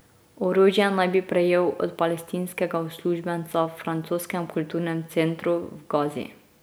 Orožje naj bi prejel od palestinskega uslužbenca v francoskem kulturnem centru v Gazi.